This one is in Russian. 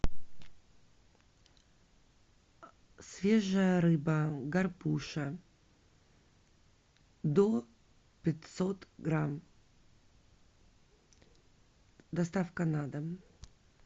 свежая рыба горбуша до пятьсот грамм доставка на дом